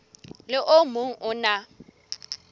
le o mong o na